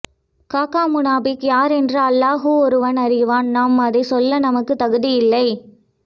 காக்கா முனாபிக் யார் என்று அல்லாஹு ஒருவன் அறிவான் நாம் அதை சொல்ல நாமக்கு தகுதி இல்லை